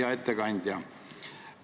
Hea ettekandja!